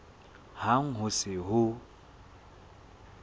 hang ha ho se ho